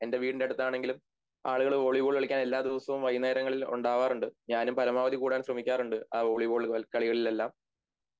എന്റെ വീടിൻ്റെ അടുത്താണെങ്കില് ആളുകള് വോളിബോൾ കളിക്കാൻ എല്ലാ ദിവസവും വൈകുന്നേരങ്ങളിൽ ഒണ്ടാവാറുണ്ട് ഞാനും പരമാവധി കൂടാൻ ശ്രെമിക്കാറുണ്ട് ആ വോളിബോൾ കളികളിലെല്ലാം